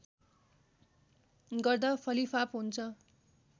गर्दा फलिफाप हुन्छ